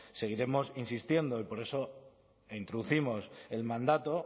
seguiremos insistiendo y por eso introducimos el mandato